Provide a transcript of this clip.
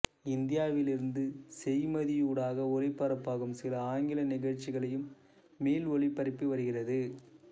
இந்தியாவிலிருந்து செய்மதியூடாக ஒளிபரப்பாகும் சில ஆங்கில நிகழ்ச்சிகளையும் மீள் ஒளிபரப்பி வருகிறது